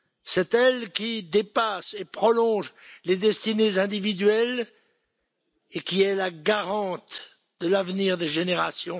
C'est elle qui dépasse et prolonge les destinées individuelles et qui est la garante de l'avenir des générations.